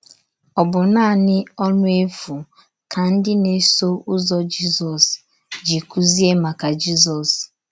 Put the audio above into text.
Ọ̀ bụ naanị ọnụ efu ka ndị na - eso ụzọ Jizọs ji kụzie maka Jizọs?